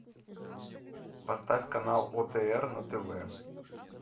поставь канал отр на тв